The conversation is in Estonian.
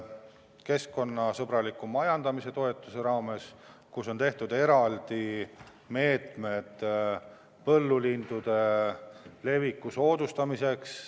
Keskkonnasõbraliku majandamise toetamise raames on käivitatud eraldi meetmed põllulindude leviku soodustamiseks.